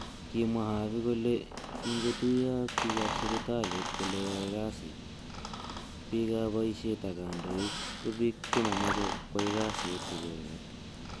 Kimwa Havi kole kingotuyo ak bik ab sipitalit kole yaoe kasi bik ab boishet ak kandoik ko bik chemomoche kwai kasit icheket